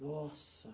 Nossa!